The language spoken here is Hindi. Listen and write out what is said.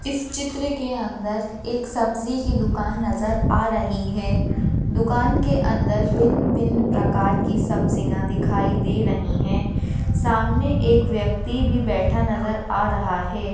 इस चित्र के अंदर एक सब्जी की दुकान नजर आ रही है दुकान के अंदर भिन्न-भिन्न प्रकार की सब्जिया दिखाई दे रही है सामने एक व्यक्ति भी बैठा नजर आ रहा है।